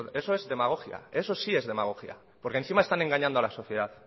eso es demagogia eso sí es demagogia porque encima están engañando a la sociedad